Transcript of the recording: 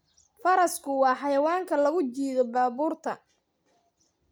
Farasku waa xayawaanka lagu jiido baabuurta.